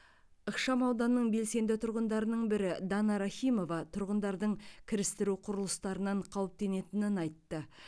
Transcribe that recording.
ықшамауданның белсенді тұрғындарының бірі дана рахимова тұрғындардың кірістіру құрылыстарынан қауіптенетінін айтты